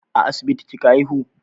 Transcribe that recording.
A asibiti kika haihu?